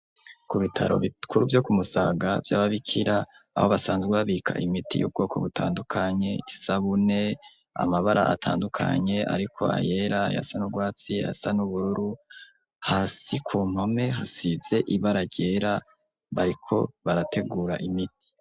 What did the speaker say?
Ku bitaro bikuru vyo ku Musaga vy' Ababikira aho basanzwe babika imiti y'ubwoko butandukanye, isabune, amabara atandukanye ariko ayera ayasa n' ugwatsi, ayasa n'ubururu, hasi ku mpome hasize ibara ryera, bariko barategura imiti.